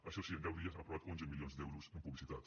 això sí en deu dies han aprovat onze milions d’euros en publicitat